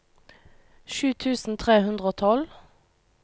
sju tusen tre hundre og tolv